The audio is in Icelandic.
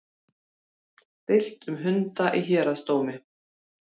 Deilt um hunda í héraðsdómi